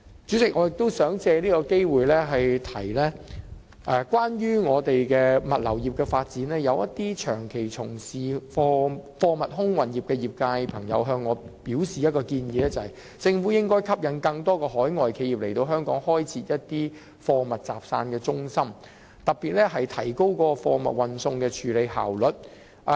主席，我亦想藉此機會指出，就本港的物流業發展，一些長期從事貨物空運業的朋友曾向我提出建議，便是政府應該吸引更多海外企業來香港開設貨物集散中心，以提高貨物運送的處理效率。